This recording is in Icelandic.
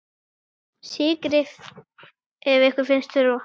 Sykrið ef ykkur finnst þurfa.